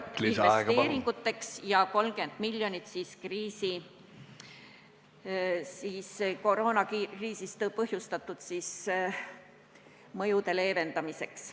... 100 miljonit eurot on mõeldud investeeringuteks ja 30 miljonit koroonakriisist põhjustatud mõjude leevendamiseks.